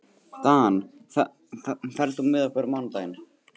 Dan, ferð þú með okkur á mánudaginn?